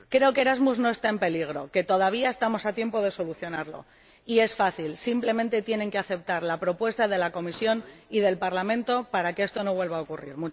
Creo que Erasmus no está en peligro, que todavía estamos a tiempo de solucionarlo, y es fácil simplemente tienen que aceptar la propuesta de la Comisión y del Parlamento para que esto no vuelva a ocurrir.